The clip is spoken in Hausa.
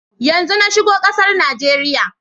Yanzo na shigo kasar Najeriya.